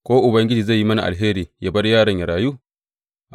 Ko Ubangiji zai yi mini alheri yă bar yaron yă rayu.’